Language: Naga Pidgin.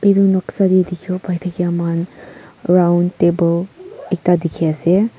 etu noksa teh dikhibo pare ke man round table ekta dikhi ase.